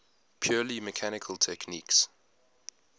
purely mechanical techniques